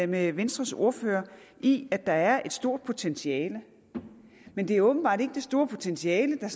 med venstres ordfører i at der er et stort potentiale men det er åbenbart ikke det store potentiale der